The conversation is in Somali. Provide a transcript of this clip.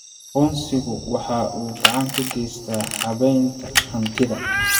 Aqoonsigu waxa uu gacan ka geystaa habaynta hantida.